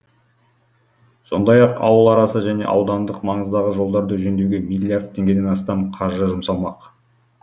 сондай ақ ауыл арасы және аудандық маңыздағы жолдарды жөндеуге миллиард теңгеден астам қаржы жұмсалмақ